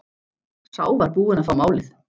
Sá var búinn að fá málið!